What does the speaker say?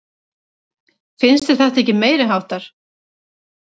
Finnst þér þetta ekki meiriháttar?